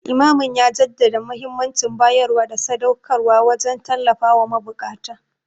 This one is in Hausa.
Limamin ya jaddada muhimmancin bayarwa da sadauƙarwa wajen tallafawa mabukata.